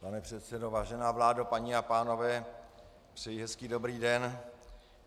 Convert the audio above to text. Pane předsedo, vážená vládo, paní a pánové, přeji hezký dobrý den.